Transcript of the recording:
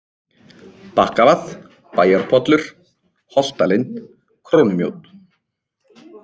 Bakkavað, Bæjarpollur, Holtalind, Krónumjódd